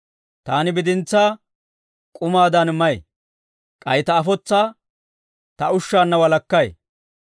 Taani bidintsaa k'umaadan may; k'ay ta afotsaa ta ushshaanna walakkay.